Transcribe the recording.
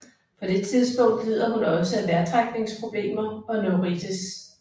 På det tidspunkt lider hun også af vejrtrækningsproblemer og neuritis